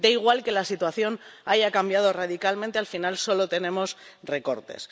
da igual que la situación haya cambiado radicalmente al final solo tenemos recortes.